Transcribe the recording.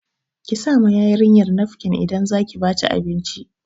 Ki sa ma yarinyar nafkin idan zaki ba ta abinci